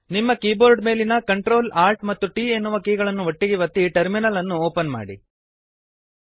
ನಿಮ್ಮ ಕೀಬೋರ್ಡ್ ಮೇಲಿನ Ctrl Alt ಮತ್ತು T ಎನ್ನುವ ಕೀಗಳನ್ನು ಒಟ್ಟಿಗೇ ಒತ್ತಿ ಟರ್ಮಿನಲ್ ಅನ್ನು ಓಪನ್ ಮಾಡಿರಿ